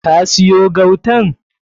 Ka siyo gautan?